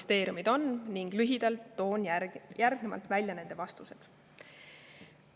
Toon lühidalt välja nende vastused.